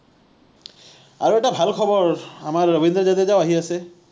আৰু এটা ভাল খবৰ আমাৰ ৰবীন্দ্ৰ জাদেজা ও আহি আছে